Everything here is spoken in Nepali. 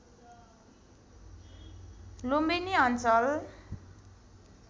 लुम्बिनी अञ्चल